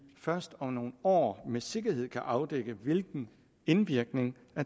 først om nogle år med sikkerhed kan afdække hvilken indvirkning